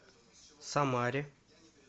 самаре